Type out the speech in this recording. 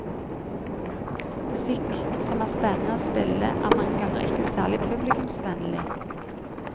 Musikk som er spennende å spille er mange ganger ikke særlig publikumsvennlig.